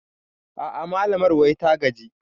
A'a malamar wai ta gaji